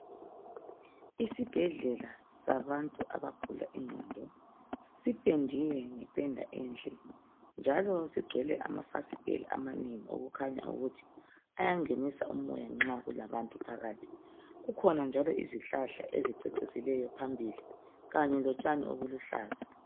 Isibhedlela sabantu abagula ingqondo. Sipendiwe ngependa enhle njalo silamafasitela amanengi okukhanya ukuthi ayangenisa umoya nxa kulabantu phakathi. Kukhona njalo izihlahla ezicecisileyo phambili kanye lotshani obuluhlaza.